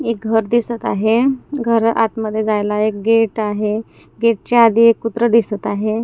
एक घर दिसत आहे घर आतमध्ये जायला एक गेट आहे गेटच्या आधी एक कुत्र दिसत आहे.